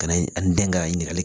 Ka na an den ka ɲininkali